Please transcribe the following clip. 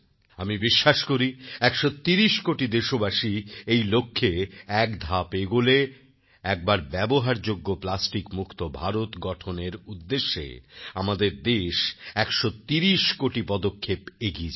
আমি বিশ্বাস করি ১৩০কোটি দেশবাসী এই লক্ষ্যে একধাপ এগোলে একবার ব্যবহারযোগ্য প্লাস্টিকমুক্ত ভারত গঠনের উদ্দেশ্যে আমাদের দেশ ১৩০কোটি পদক্ষেপ এগিয়ে যাবে